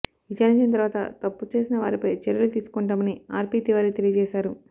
విచారించిన తరువాత తప్పు చేసిన వారిపై చర్యలు తీసుకుంటామని ఆర్పీ తివారీ తెలియజేశారు